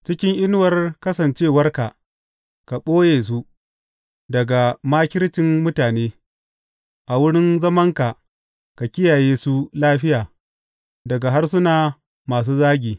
Cikin inuwar kasancewarka ka ɓoye su daga makircin mutane; a wurin zamanka ka kiyaye su lafiya daga harsuna masu zagi.